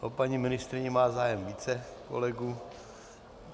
O paní ministryni má zájem více kolegů.